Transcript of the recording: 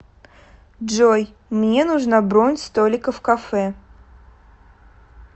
джой мне нужна бронь столика в кафе